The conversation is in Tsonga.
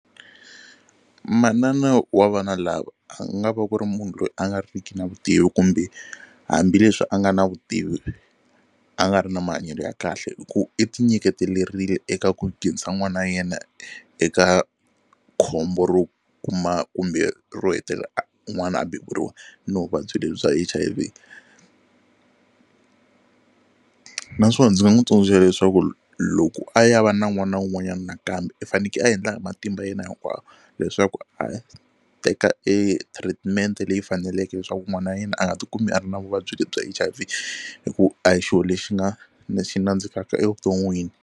Manana wa vana lava a nga va ku ri munhu loyi a nga riki na vutivi kumbe hambileswi a nga na vutivi a nga ri na mahanyelo ya kahle hi ku i ti nyiketerile eka ku nghenisa n'wana yena eka khombo ro kuma kumbe ro hetelela a n'wana a beburiwa na vuvabyi lebyi bya H_I_V naswona ndzi nga n'wi tsundzuxa leswaku loko a ya va na n'wana un'wanyana nakambe i faneke a endla hi matimba yena hinkwayo leswaku a teka e treatment-e leyi faneleke leswaku n'wana yena a nga tikumi a ri na vuvabyi lebyi H_I_V hi ku a hi xilo lexi nga na xi nandzikaka evuton'wini.